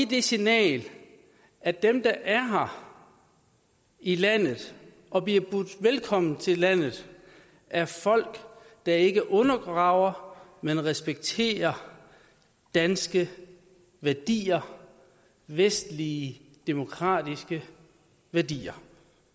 det signal at dem der er her i landet og bliver budt velkommen til landet er folk der ikke undergraver men respekterer danske værdier vestlige demokratiske værdier